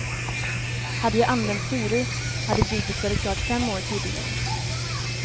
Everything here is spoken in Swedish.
Hade jag använt furu hade bygget varit klart fem år tidigare.